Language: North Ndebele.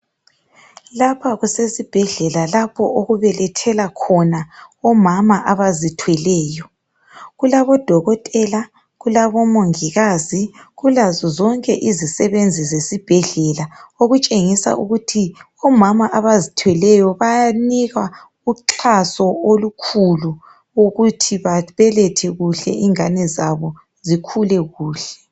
Lapha kusesibhedlela lapho okubelethela khona omama abazithweleyo kulabo dokotela kulabo mongikazi kulazo zonke izisebenzi zesibhedlela okutshengisa ukuthi omama abazithweleyo bayanikwa uxhaso olukhulu ukuthi babelethe kuhle ingane zabo zikhule kuhle.